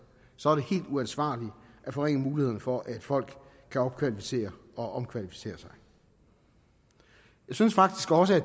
så er det helt uansvarligt at forringe mulighederne for at folk kan opkvalificere og omkvalificere sig jeg synes faktisk også at